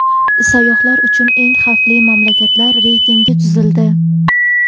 Sayyohlar uchun eng xavfli mamlakatlar reytingi tuzildi.